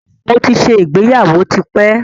Mo ti ṣe ìgbéyàwó tí pẹ́.